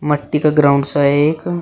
मट्टी का ग्राउंड सा है एक--